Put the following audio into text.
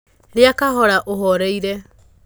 Rĩa kahora ũhorereire.